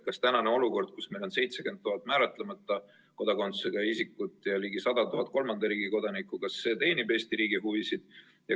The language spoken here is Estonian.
Kas tänane olukord, kus meil on 70 000 määratlemata kodakondsusega isikut ja ligi 100 000 kolmanda riigi kodanikku, teenib Eesti riigi huvisid?